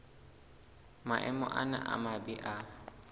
maemo ana a mabe a